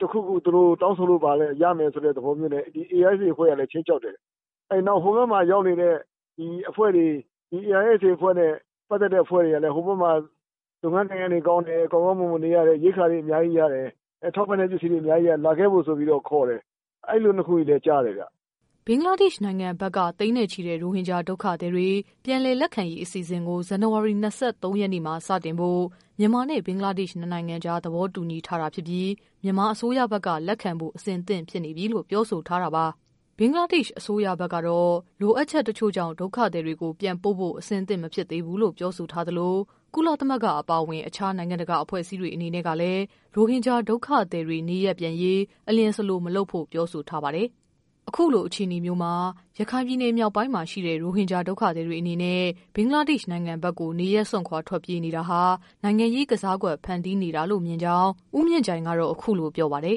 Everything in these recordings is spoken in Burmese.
သူတို့ တခုခုတောင်းဆိုလို့ရမယ်ဆိုတဲ့ သဘောနဲ့ ARSAအဖွဲ့ကလည်း ခြိမ်းခြောက်တယ်။ နောက်ဟိုဘက်မှာ ရောက်နေတဲ့ ARSAအဖွဲ့နဲ့ ပတ်သက်တဲ့ အဖွဲ့တွေကလည်း ဟိုဘက်မှာ လုပ်ငန်းကိုင်ငန်းတွေကောင်းတယ်၊ ကောင်းကောင်းမွန်မွန်နေရတယ်။ ရိက္ခာတွေ အများကြီးရတယ်။ ထောက်ပံ့တဲ့ ပစ္စည်းတွေ အများကြီးရတယ်ဆိုပြီး လာခဲ့ဖို့ ခေါ်တယ်။ အဲဒါမျိုးတွေလည်း ကြားတယ်။" ဘင်္ဂလားဒေ့ရှ်နိုင်ငံဘက်က သိန်းနဲ့ချီတဲ့ ရိုဟင်ဂျာ ဒုက္ခသည်တွေ ပြန်လည်လက်ခံရေး အစီအစဉ်ကို ဇန်နဝါရီ ၂၃ရက်နေ့မှာ စတင်ဖို့ မြန်မာနဲ့ ဘင်္ဂလားဒေရှ် နှစ်နိုင်ငံကြား သဘောတူညီထားတာ ဖြစ်ပြီး မြန်မာအစိုးရဘက်က လက်ခံဖို့ အဆင့်သင့်ဖြစ်နေပြီလို့ ပြောဆိုထားတာပါ။ ဘင်္ဂလားဒေ့ရှ် အစိုးရဘက်ကတော့ လိုအပ်ချက် တချို့ကြောင့် ဒုက္ခသည်တွေကို ပြန်ပို့ဖို့ အဆင်သင့်မဖြစ်သေးဘူးလို့ ပြောဆိုထားသလို ကုလသမဂ္ဂ အပါအဝင် အခြား နိုင်ငံတကာ အဖွဲ့အစည်းတွေအနေနဲ့ကလည်း ရိုဟင်ဂျာ ဒုက္ခသည် တွေ နေရပ်ပြန်ရေး အလျင်စလို မလုပ်ဖို့ ပြောဆိုထားပါတယ်။ အခုလို အခြေအနေမျိုးမှာ ရခိုင်ပြည်နယ်မြောက်ပိုင်းမှာ ရှိနေတဲ့ ရိုဟင်ဂျာ ဒုက္ခသည်တွေအနေနဲ့ ဘင်္ဂ လားဒေ့ရှ်နိုင်ငံဘက်ကို နေရပ်စွန့်ခွာ ဆက်လက်ထွက်ပြေးနေတာဟာ နိုင်ငံရေးကစားကွက် ဖန်တီးနေ တာလို့မြင်ကြောင်း ဦးမြင့်ကြိုင်က အခုလို ပြောပါတယ်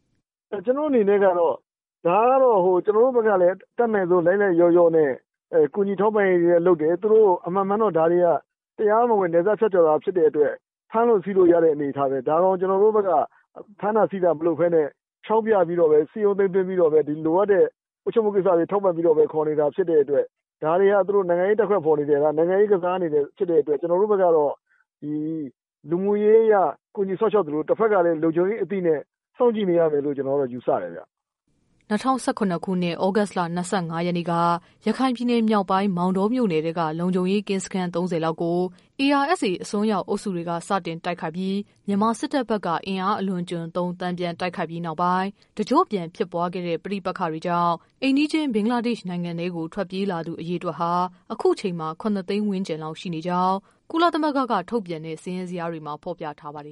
။ "ကျနော့်အနေနဲ့ကတော့ ဒါကတော့ ကျနော်တို့လည်း အတတ်နိုင်ဆုံး လိုက်လိုက်လျောလောျနဲ့ ကူညီထောက်ပံ့ရေးတွေလည်း လုပ်တယ်။ သူတို့ အမှန်မှန်တော့ ဒါတွေက တရားမဝင် နယ်စပ်ဖြတ်ကျော်တာဖြစ်တဲ့အတွက် ဖမ်းလို့ဆီးလို့ရတဲ့အနေအထားပဲ ဒါကို ကျနော်တို့က ဖမ်းတာဆီးတာမလုပ်ပဲနဲ့ ခြောက်ပြပြီးတော့ပဲ စည်းရုံးသိမ်းသွင်းပြီးတော့ လိုအပ်တဲ့ ကိစ္စတွေ ထောက်ပံ့ခေါ်နေတာဖြစ်တဲ့အတွက် ဒါတွေက သူတို့ နိုင်ငံရေးကစားနေတာတွေ ဖြစ်တဲ့အတွက် တဖက်ကလည်း လူမှုရေးအရ ကူညီစောင့်ရှောက်သလို တဖက်က လုံခြုံရေးအသိနဲ့ စောင့်ကြည့်နေရတယ်လို့ ယူဆတယ်ခင်ဗျ။" ၂၀၁၇ခုနှစ် သြဂုတ်လ ၂၅ ရက်နေ့က ရခိုင်ပြည်နယ်မြောက်ပိုင်း မောင်တောမြို့နယ်ထဲက လုံခြုံရေး ကင်းစခန်း ၃၀ လောက်ကို ARSA အစွန်းရောက် အုပ်စုတွေက စတင်တိုက်ခိုက်ပြီး မြန်မာစစ်တပ် ဘက်က အင်အား အလွန်အကျွံသုံး တန်ပြန် တိုက်ခိုက်ပြီးနောက်ပိုင်း တကျော့ပြန် ဖြစ်ပွားခဲ့တဲ့ ပဋိပက္ခတွေကြောင့် အိမ်နီးချင်း ဘင်္ဂလားဒေ့ရှ်နိုင်ငံကို ထွက်ပြေးလာသူ အရေအတွက်ဟာ အခုချိန်မှာ ၇ သိန်းဝန်းကျင် ရှိနေကြောင်း ကုလသမဂ္ဂက ထုတ်ပြန်တဲ့ စာရင်းဇယားတွေမှာ ဖော်ပြထားပါတယ်